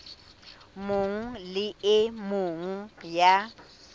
mong le e mong ya